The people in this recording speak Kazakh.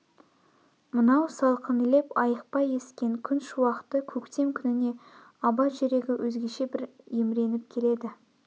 мынау салқын леб айықпай ескен күн шуақты көктем күніне абай жүрегі өзгеше бір емреніп келеді